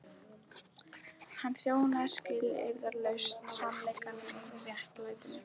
Hann þjónaði skilyrðislaust sannleikanum og réttlætinu.